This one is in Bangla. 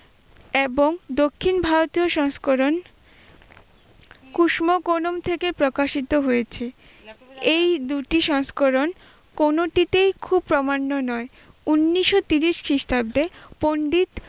এবং দক্ষিণ ভারতীয় সংস্করণ কুসমোকলুম থেকে প্রকাশিত হয়েছে। এই দুটি সংস্করণ কোনটিতেই খুব প্রমাণ্য নয়, উনিশশো তিরিশ খ্রিস্টাব্দে পন্ডিত